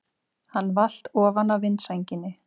Hann valt ofan af vindsænginni!